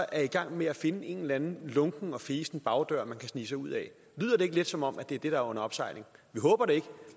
er i gang med at finde en eller anden lunken og fesen bagdør de kan snige sig ud af lyder det ikke lidt som om det er det der er under opsejling vi håber det ikke